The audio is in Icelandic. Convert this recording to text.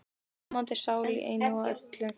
Ljómandi sál í einu og öllu.